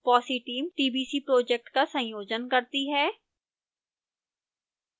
fossee team tbc project का संयोजन करती है